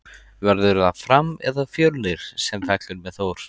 Verður það Fram eða Fjölnir sem fellur með Þór?